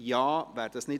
Ja / Oui Nein /